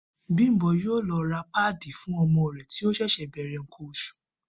Bímpé yóò lo̩ ra páàdì fún o̩mo̩ rè̩ tí ó s̩è̩s̩è̩ bè̩rè̩ nǹkan os̩ù